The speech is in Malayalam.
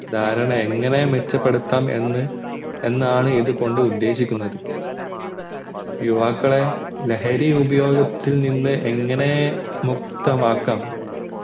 ദാരണ എങ്ങനെ മെച്ചപ്പെടുത്താം എന്ന് എന്നാണ് ഇത് കൊണ്ട് ഉദ്ദേശിക്കുന്നത് യുവാക്കളെ ലഹരി ഉപയോഗത്തിൽ നിന്ന് എങ്ങനെ മുക്തമാകാം